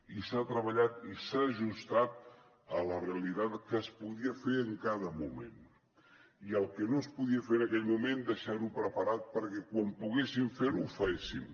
i s’ha treballat i s’ha ajustat a la realitat que es podia fer en cada moment i el que no es podia fer en aquell moment deixarho preparat perquè quan poguéssim ferho ho féssim